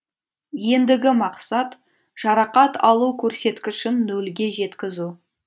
ендігі мақсат жарақат алу көрсеткішін нөлге жеткізу